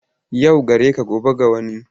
Yau gare ka gobe ga wani.